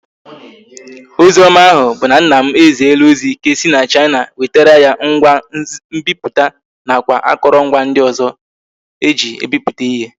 Ozi oma ahu bu na nna m eziela ozi ka esi na china wetara ya ngwa nbiputa na kwa akorongwa ndi ozo eji ebiputa ihe